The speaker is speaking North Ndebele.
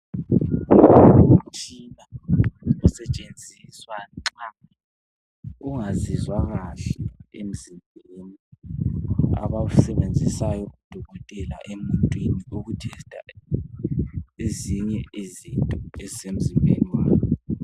Umtshina usetshenziswa nxa ungazizwa kahle emzimbeni. Abawusebenzisayo odokotela emuntwini, ukuthesita ezinye izinto ezisemzimbeni wakhe.